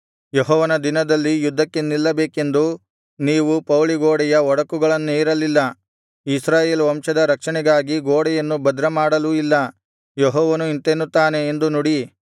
ಯೆಹೋವನ ದಿನದಲ್ಲಿ ಯುದ್ಧಕ್ಕೆ ನಿಲ್ಲಬೇಕೆಂದು ನೀವು ಪೌಳಿ ಗೋಡೆಯ ಒಡಕುಗಳನ್ನೇರಲಿಲ್ಲ ಇಸ್ರಾಯೇಲ್ ವಂಶದ ರಕ್ಷಣೆಗಾಗಿ ಗೋಡೆಯನ್ನು ಭದ್ರ ಮಾಡಲೂ ಇಲ್ಲ ಯೆಹೋವನು ಇಂತೆನ್ನುತ್ತಾನೆ ಎಂದು ನುಡಿ